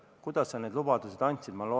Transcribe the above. Kuidas sa need lubadused andsid?